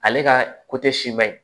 Ale ka siman ɲi